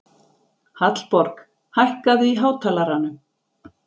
Hallborg, hækkaðu í hátalaranum.